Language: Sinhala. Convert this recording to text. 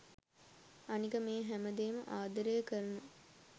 අනික මේ හැම දේම ආදරය කරන